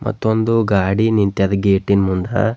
ಮತ್ತು ಒಂದು ಗಾಡಿ ನಿಂತ್ಯದ್ ಗೇಟಿ ನ್ ಮುಂದ.